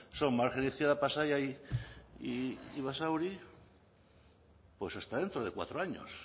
son margen izquierda pasaia y basauri pues hasta dentro de cuatro años